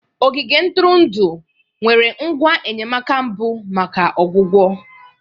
Ogige ntụrụndụ nwere ngwa enyemaka mbụ maka ọgwụgwọ